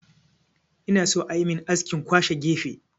Ina so ayi min askin kwashe gefe